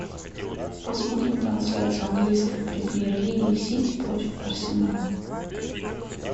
посмотрим трансляцию английской премьер лиги сити против арсенала